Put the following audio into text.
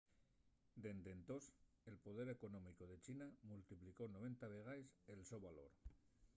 dende entós el poder económicu de china multiplicó 90 vegaes el so valor